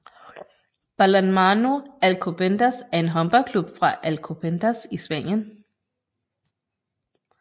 Balonmano Alcobendas er en håndboldklub fra Alcobendas i Spanien